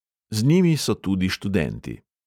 Z njimi so tudi študenti.